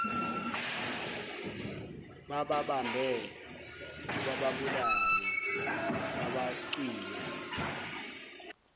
bababambe bababulale babacwiye